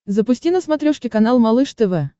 запусти на смотрешке канал малыш тв